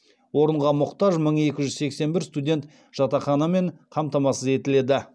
орынға мұқтаж мың екі жүз сексен бір студент жатақханамен қамтамасыз етіледі